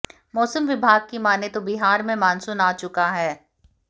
मौसम विभाग की मानें तो बिहार में मानसून आ चुका है